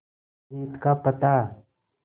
जीत का पता